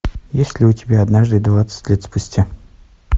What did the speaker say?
есть ли у тебя однажды двадцать лет спустя